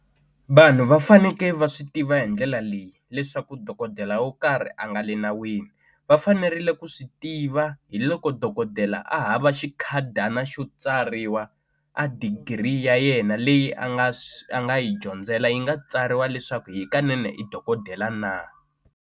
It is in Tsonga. Vanhu va fanekele va swi tiva hi ndlela leyi leswaku dokodela wo karhi a nga le nawini va fanerile ku swi tiva hi loko dokodela a hava xikhadana xo tsariwa a degree ya yena leyi a nga a nga yi dyondzela yi nga tsariwa leswaku hikanene i dokodela na.